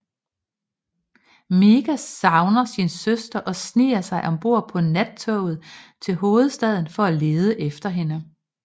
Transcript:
Miga savner sin søster og sniger sig ombord på nattoget til hovedstaden for at lede efter hende